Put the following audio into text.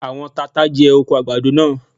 Àwọn tata jẹ oko àgbàdo náà.